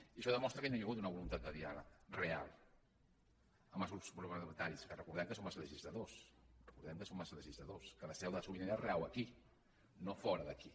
i això demostra que no hi ha hagut una voluntat de diàleg real amb els grups parlamentaris que recordem que som els legisladors recordem que som els legisladors que la seu de la sobirania rau aquí no fora d’aquí